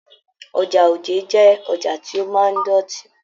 Ọjà Òjé jẹ ọjà tí o máa n dọtí.